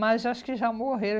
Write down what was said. Mas acho que já morreram.